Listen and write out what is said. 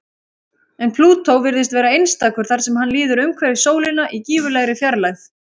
En Plútó virðist vera einstakur þar sem hann líður umhverfis sólina í gífurlegri fjarlægð.